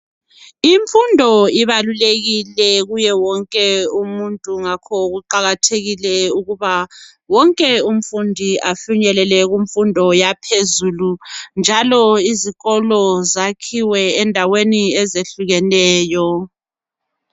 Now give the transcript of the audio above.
Ifundo ibalulekile kuye wonke umuntu ngakho kuqakathekile ukuba wonke umfundi afinyelele kumfundo yaphezulu njalo izikolo zakhiwe endaweni ezehlukeneyo.